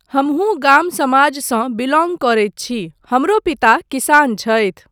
हमहूँ गाम समाजसँ बिलौङ्ग करैत छी, हमरो पिता किसान छथि।